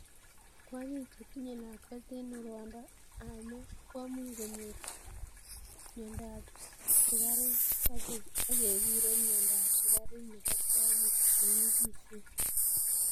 Kwonyik chetinye lakwet eng rwondo ab moo komuch konyor mnyendo ab sukaruk akekure mnyendo ab sukaruk nebo kwonyik chenyikisen.